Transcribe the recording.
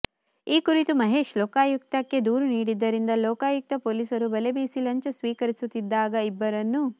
ಈ ಕುರಿತು ಮಹೇಶ್ ಲೋಕಾಯುಕ್ತಕ್ಕೆ ದೂರು ನೀಡಿದ್ದರಿಂದ ಲೋಕಾಯುಕ್ತ ಪೊಲೀಸರು ಬಲೆಬೀಸಿ ಲಂಚ ಸ್ವೀಕರಿಸುತ್ತಿದ್ದಾಗ ಇಬ್ಬರನ್ನು